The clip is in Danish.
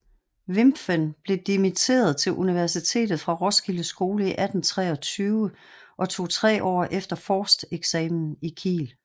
Wimpffen blev dimitteret til Universitetet fra Roskilde Skole 1823 og tog tre år efter forsteksamen i Kiel